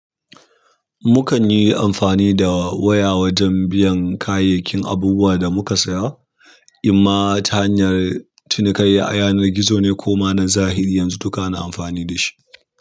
Mukan yi amfani da waya wajen biyan kayayyakin abubuwa da muka saya, imma ta hanyar cinikayya a yanar gizo ne ko ma na zahiri, yanzu duka ana amfani da shi.